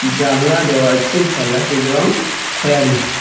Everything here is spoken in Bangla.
জানলা দেওয়া আছে জানলাটির রং খয়েরি।